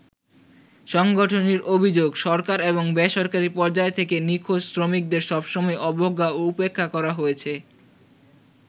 সংগঠনটির অভিযোগ, সরকার এবং বেসরকারি পর্যায় থেকে নিখোঁজ শ্রমিকদের সব সময়ই অবজ্ঞা ও উপেক্ষা করা হয়েছে।